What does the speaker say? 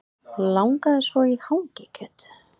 Langaði svo í hangikjöt